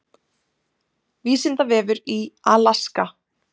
Vísindavefur í Alaska.